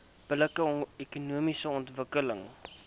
billike ekonomiese ontwikkeling